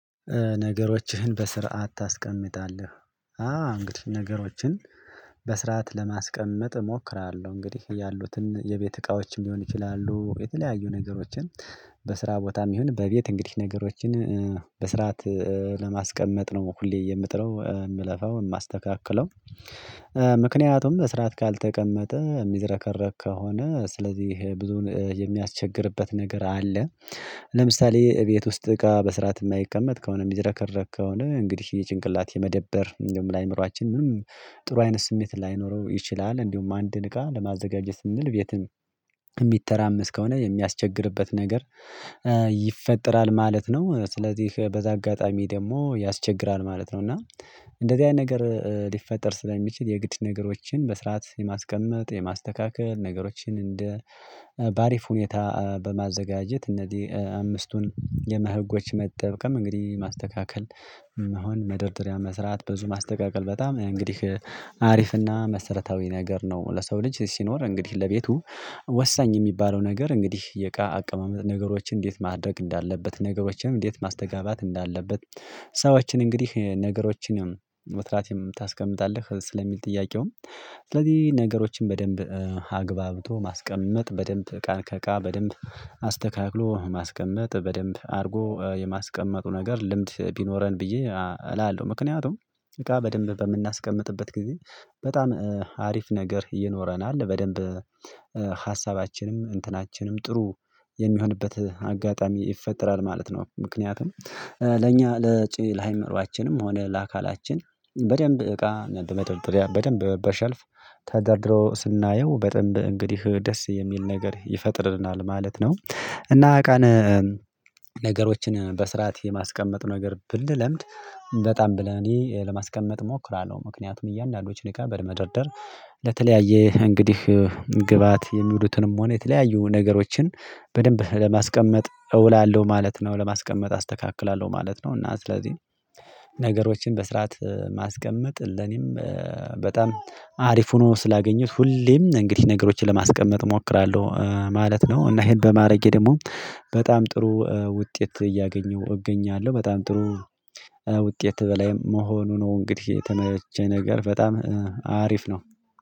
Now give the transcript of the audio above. ነገሮችህን በስርዓት ታስቀምጣለህ? አ እንግዲህ ነገሮችን በስርዓት ለማስቀመጥ እሞክራለሁ። እንግዲህ ያሉትን የቤት እቃዎችም ሊሆን ይችላሉ የተለያዩ ነገሮችን በስራ ቦታም ይሁን በቤት እንግዲህ ነገሮችን በስርዓት ለማስቀመጥ ነው ሁሌ የምጥረው የምለፋው የማስተካክለው። ምክንያቱም በስራት ካልተቀመጠ የሚዘረከረክ ከሆነ ስለዚህ ብዙን የሚያስቸግርበት ነገር አለ። ለምሳሌ ቤት ውስጥ እቃ በስርዓት የማይቀመጥ ከሆነ የሚዘረከረክ ከሆነ እንግዲህ የጭንቅላት የመደበር ለአእምሮአችን ምንም ጥሩ አይነት ስሜት ላይኖረው ይችላል። እንዲሁም አንድን እቃ ለማዘጋጀት ስንል ቤትም የሚተራመስ ከሆነ የሚያስቸግርበት ነገር ይፈጠራል ማለት ነው። ስለዚህ በዛ አጋጣሚ ደግሞ ያስቸግራል ማለት ነው። እና እንደዚህ አይነት ነገር ሊፈጠር ስለሚችል የግድ ነገሮችን በስርዓት የማስቀመጥ የማስተካከል ነገሮችን እንደ በአሪፍ ሁኔታ በማዘጋጀት እነዚህ አምስቱን የመ ህጎች መጠቀም እንግዲህ ማስተካከል መሆን መደርደሪያ መስራት ብዙ ማስተካከል በጣም እንግዲህ አሪፍና መሰረታዊ ነገር ነው። ለሰው ልጅ ሲኖር እንግዲህ ለቤቱ ወሳኝ የሚባለው ነገር እንግዲህ የእቃ አቀማመጥ ነገሮችን እንዴት ማድረግ እንዳለበት ነገሮችንም እንዴት ማስተጋባት እንዳለበት ሰዎችን እንግዲህ ነገሮችንም ወትራቴም ታስቀምጣለህ ስለሚል ጥያቄውም ስለዚህ ነገሮችን በደንብ አግባብቶ ማስቀመጥ በደንብ እቃን ከእቃ በደንብ አስተካክሎ ማስቀመጥ በደንብ አድርጎ የማስቀመጡ ነገር ልምድ ቢኖረን ብዬ እላለሁ። ምክንያቱም እቃ በደንብ በምናስቀምጥበት ጊዜ በጣም አሪፍ ነገር ይኖረናል በደንብ ሀሳባችንም እንትናችንም ጥሩ የሚሆንበት አጋጣሚ ይፈጠራል ማለት ነው። ምክንያቱም ለኛ ለሃይመርዋችንም ሆነ ለአካላችን በደንብ እቃ በመደርደርያ በደንብ በሸልፍ ተደርድሮ ስናየው በደንብ እንግዲህ ደስ የሚል ነገር ይፈጥርናል ማለት ነው። እና አቃን ነገሮችን በስርዓት የማስቀመጥ ነገር ብንለምድ በጣም ብለን እኔ ለማስቀመጥ እሞክራለሁ። ምክንያቱም እያንዳንዱን እቃ በመደርደር ለተለያየ እንግዲህ ግበአት የሚውሉትንም ሆነ የተለያዩ ነገሮችን በደንብ ለማስቀመጥ እውላለሁ ማለት ነው። ለማስቀመጥ አስተካክላለሁ ማለት ነው። እና ስለዚህ ነገሮችን በስርዓት ማስቀመጥ ለኔም በጣም አሪፍ ሆኖ ስላገኙት ሁሌም እንግዲህ ነገሮችን ለማስቀመጥ እሞክራለሁ ማለት ነው። እና ይሄን በማረጌ ደግሞ በጣም ጥሩ ውጤት እያገኘሁ እገኛለሁ በጣም ጥሩ ውጤት በላይ መሆኑ ነው። እንግዲህ የተመቸ ነገር በጣም አሪፍ ነው